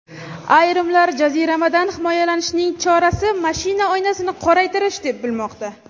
Ayrimlar jaziramadan himoyalanishning chorasi mashina oynasini qoraytirish deb bilmoqda.